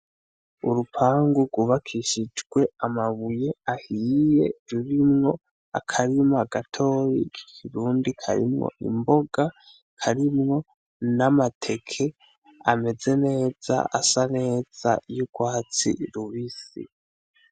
Urupangu gubakishijwe amabuye ahiye rurimwo akarima gatoyi kikirundi karimwo imboga karimwo n'amateke ameze neza asa neza y'urwatsi rubisi.